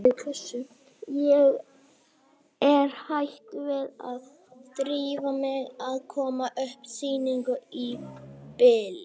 Ég er hætt við að drífa mig í að koma upp sýningu í bili.